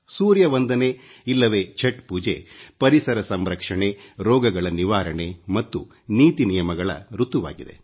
ಸೂರ್ಯ ವಂದನೆ ಇಲ್ಲವೆ ಛಟ್ ಪೂಜೆ ಪರಿಸರ ಸಂರಕ್ಷಣೆ ರೋಗಗಳ ನಿವಾರಣೆ ಮತ್ತು ನೀತಿ ನಿಯಮಗಳ ಋತುವಾಗಿದೆ